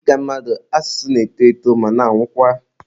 Dịka mmadụ, asụsụ na-eto ma na-anwụkwa.